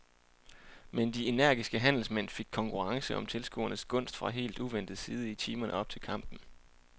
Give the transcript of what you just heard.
Men de energiske handelsmænd fik konkurrence om tilskuernes gunst fra helt uventet side i timerne op til kampen.